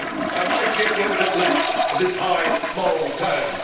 So I suggest we have a bit less of this high moral tone.